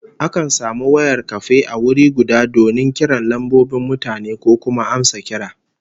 Akan samu wayar kafe a wuri guda donin kiran lambobin mutane ko kuma amsa kira